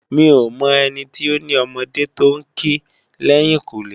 Mi ó mò èni ti ó ni òmòdé tó n ké lèyinkúnlé